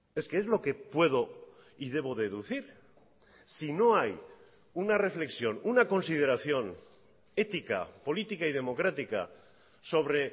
es que es lo que puedo y debo deducir si no hay una reflexión una consideración ética política y democrática sobre